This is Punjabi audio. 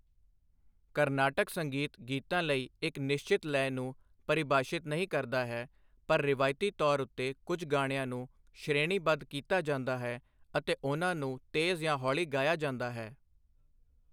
ਕਰਨਾਟਿਕ ਸੰਗੀਤ ਗੀਤਾਂ ਲਈ ਇੱਕ ਨਿਸ਼ਚਿਤ ਲੈਅ ਨੂੰ ਪਰਿਭਾਸ਼ਿਤ ਨਹੀਂ ਕਰਦਾ ਹੈ, ਪਰ ਰਵਾਇਤੀ ਤੌਰ ਉੱਤੇ ਕੁਝ ਗਾਣਿਆਂ ਨੂੰ ਸ਼੍ਰੇਣੀਬੱਧ ਕੀਤਾ ਜਾਂਦਾ ਹੈ ਅਤੇ ਉਨ੍ਹਾਂ ਨੂੰ ਤੇਜ਼ ਜਾਂ ਹੌਲੀ ਗਾਇਆ ਜਾਂਦਾ ਹੈ।